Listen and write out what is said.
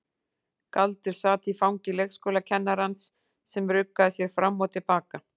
Galdur sat í fangi leikskólakennarans sem ruggaði sér fram og til baka.